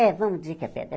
É, vamos dizer que é pedra.